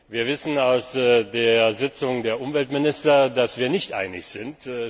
Wir wissen aus der Sitzung der Umweltminister, dass wir nicht einig sind.